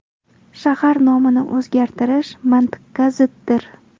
Shahar nomini o‘zgartirish mantiqqa ziddir.